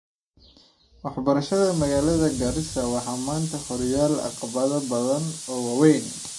Waxbarashada magalada Garissa waxaa maanta horyaala caqabado badan oo waaweyn.